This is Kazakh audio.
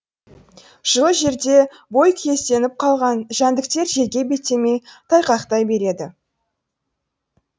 жылы жерде бойкүйезденіп қалған жәндіктер желге беттемей тайқақтай береді